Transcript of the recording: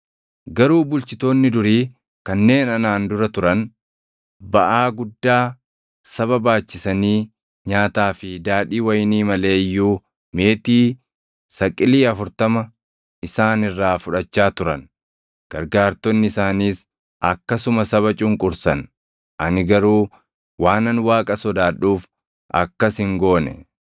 Garuu bulchitoonni durii kanneen anaan dura turan baʼaa guddaa saba baachisanii nyaataa fi daadhii wayinii malee iyyuu meetii saqilii afurtama isaan irraa fudhachaa turan. Gargaartonni isaaniis akkasuma saba cunqursan. Ani garuu waanan Waaqa sodaadhuuf akkas hin goone.